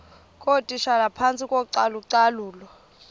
ngootitshala phantsi kocalucalulo